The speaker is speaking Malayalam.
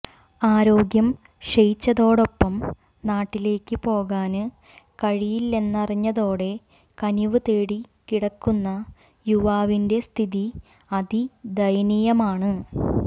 ആരോഗ്യം ക്ഷയിച്ചതോടൊപ്പം നാട്ടിലേക്ക് പോകാന് കഴിയില്ലെന്നറിഞ്ഞതോടെ കനിവ് തേടി കിടക്കുന്ന യുവാവിന്റെ സ്ഥിതി അതി ദയനീയമാണ്